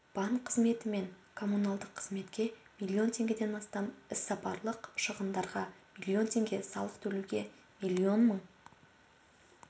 банк қызметі мен коммуналдық қызметке миллион теңгеден астам іссапарлық шығындарға миллион теңге салық төлеуге миллион мың